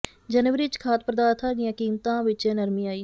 ਜਨਵਰੀ ਵਿਚ ਖਾਧ ਪਦਾਰਥਾਂ ਦੀਆਂ ਕੀਮਤਾਂ ਵਿਚ ਨਰਮੀ ਆਈ